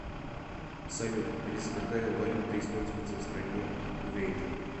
салют алиса какая валюта используется в стране кувейт